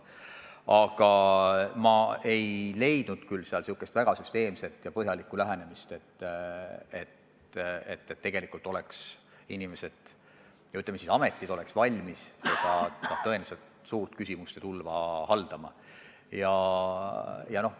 Aga ma ei leidnud küll sealt eelnõust väga süsteemset ja põhjalikku lähenemist, mis annaks kindluse, et teatud ametid oleks valmis sellele tõeliselt suurele küsimuste tulvale vastama.